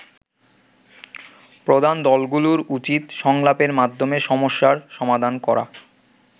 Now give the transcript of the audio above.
প্রধান দলগুলোর উচিত সংলাপের মাধ্যমে সমস্যার সমাধান করা।